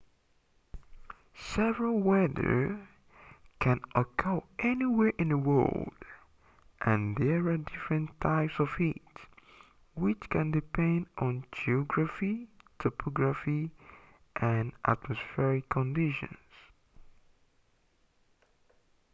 severe weather can occur anywhere in the world and there are different types of it which can depend on geography topography and atmospheric conditions